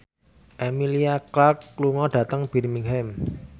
Emilia Clarke lunga dhateng Birmingham